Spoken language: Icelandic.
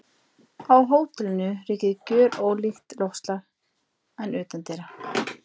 Á hótelinu ríkir gjörólíkt loftslag en utandyra.